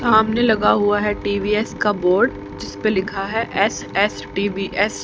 सामने लगा हुआ है टी_वी_एस का बोर्ड जिस पर लिखा है एस_एस_टी_वी_एस --